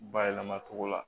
Bayɛlɛma cogo la